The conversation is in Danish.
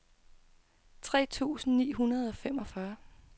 tre tusind ni hundrede og femogfyrre